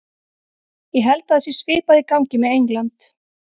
Ég held að það sé svipað í gangi með England.